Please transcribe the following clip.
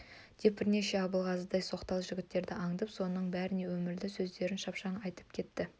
деп бірнеше абылғазыдай соқталы жігіттерді аңдап соның бәріне өмірлі сөздерін шапшаң айтып кетті